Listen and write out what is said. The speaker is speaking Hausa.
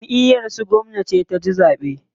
Jamʼiyar su gwamna ce ta ci zaɓe.